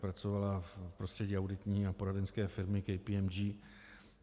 Pracovala v prostředí auditní a poradenské firmy KPMG.